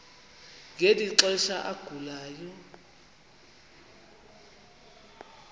ngeli xesha agulayo